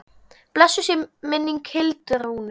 Blessuð sé minning Hildar Rúnu.